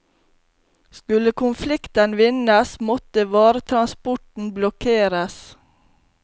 Skulle konflikten vinnes, måtte varetransporten blokkeres.